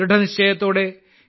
ദൃഢനിശ്ചയത്തോടെ